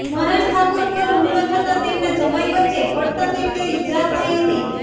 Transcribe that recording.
મહેશ ઠાકોર પર હુમલો થતાં તેમના જમાઈ વચ્ચે પડતા તેમને ઈજા થઈ હતી